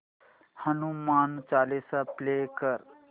Hanuman Chalisa play कर